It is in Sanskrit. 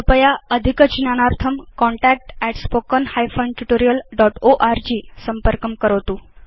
कृपया अधिकज्ञानार्थं contact at spoken hyphen tutorial dot org संपर्कं करोतु